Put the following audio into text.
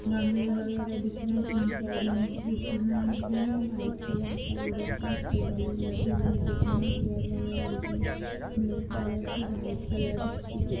गमले वगैरह दिख रहे हैं। तीन चार जेंट्स दिख रहे हैं। वाइट कलर का वो दिख रहा। उसपे बलून लगे हुए दिख रहे हैं। चेयर वगैरह दिख रही ब्लैक कलर की वाइट कलर की दुक --